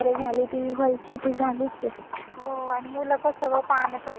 हो आणि मुलं कस गं पाण्यात वैगरे खेळतात ते ऐकत नाहीत ना.